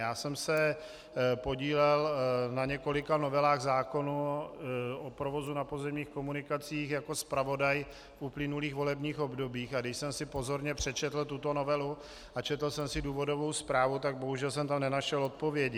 Já jsem se podílel na několika novelách zákonů o provozu na pozemních komunikacích jako zpravodaj v uplynulých volebních obdobích, a když jsem si pozorně přečetl tuto novelu a četl jsem si důvodovou zprávu, tak bohužel jsem tam nenašel odpovědi.